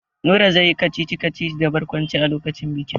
Nura zai yi kacici-kacici da barkwanci a lokacin bikin.